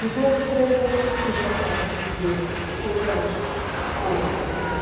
Dos outros três eu não tive a sorte de ver, por circunstâncias outras né.